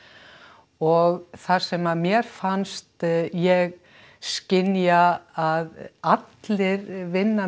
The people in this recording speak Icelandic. og þar sem að mér fannst ég skynja að allir vinna